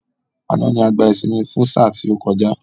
Àná ni a gbá ìsinmi fún sáà tí ó kọjá